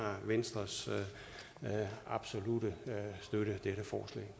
venstres absolutte støtte